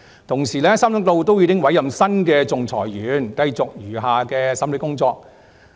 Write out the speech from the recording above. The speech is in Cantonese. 同時 ，3 宗個案均已委任新的仲裁員，繼續案件餘下的審理程序。